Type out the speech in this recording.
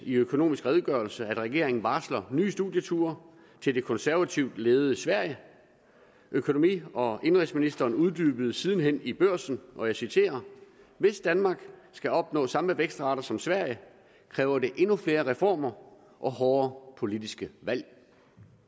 i økonomisk redegørelse at regeringen varsler nye studieture til det konservativt ledede sverige økonomi og indenrigsministeren uddybede siden hen i børsen og jeg citerer hvis danmark skal opnå samme vækstrater som sverige kræver det endnu flere reformer og hårdere politiske valg